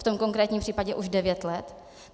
V tom konkrétním případě už devět let.